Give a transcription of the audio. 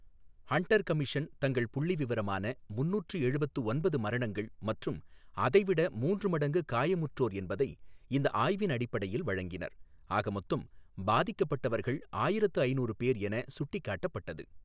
Hunter commission தங்கள் புள்ளிவிவரமான முன்னூற்று எழுபத்து ஒன்பது மரணங்கள் மற்றும் அதை விட மூன்று மடங்கு காயமுற்றோர் என்பதை இந்த ஆய்வின் அடிப்படையில் வழங்கினர், ஆக மொத்தம் பாதிக்கப்பட்டவர்கள் ஆயிரத்து ஐநூறு பேர் என சுட்டிக் காட்டப்பட்டது.